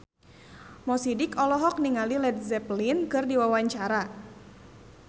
Mo Sidik olohok ningali Led Zeppelin keur diwawancara